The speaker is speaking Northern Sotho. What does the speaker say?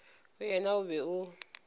go yena o be o